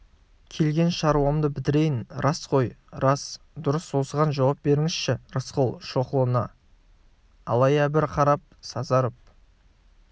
келген шаруамды бітірейін рас қой рас дұрыс осыған жауап беріңізші рысқұл шоқұлына алая бір қарап сазарып